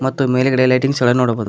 ಮತ್ತು ಮೇಲ್ಗಡೆ ಲೈಟಿಂಗ್ಸ್ ಎಲ್ಲಾ ನೋಡಬಹುದು.